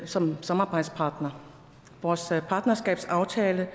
som samarbejdspartner og vores partnerskabsaftale